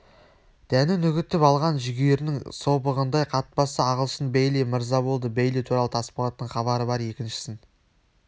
дәнін үгітіп алған жүгерінің собығындай қатпасы ағылшын бейли мырза болды бейли туралы тасболаттың хабары бар екіншісін